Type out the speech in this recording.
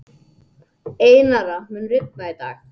Einara, mun rigna í dag?